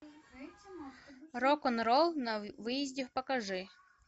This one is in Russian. рок н ролл на выезде покажи